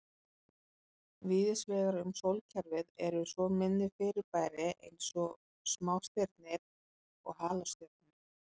Víðsvegar um sólkerfið eru svo minni fyrirbæri eins og smástirni og halastjörnur.